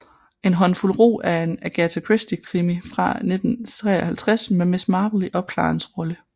En håndfuld rug er en Agatha Christie krimi fra 1953 med Miss Marple i opklarerens rolle